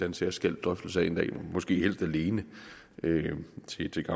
en særskilt drøftelse af en dag og måske helst alene til glæde